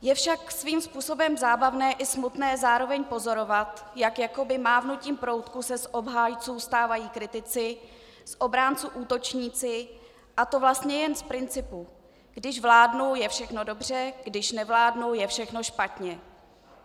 Je však svým způsobem zábavné i smutné zároveň pozorovat, jak jakoby mávnutím proutku se z obhájců stávající kritici, z obránců útočníci, a to vlastně jen z principu: když vládnou, je všechno dobře, když nevládnou, je všechno špatně.